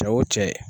Cɛ wo cɛ